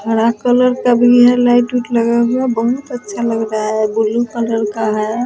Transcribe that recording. हरा कलर का भीहै लाइट -उट लगा हुआ बहुत अच्छा लग रहा है ब्लू कलर का है ।